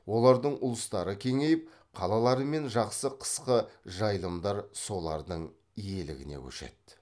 олардың ұлыстары кеңейіп қалалар мен жақсы қысқы жайылымдар солардың иелігіне көшеді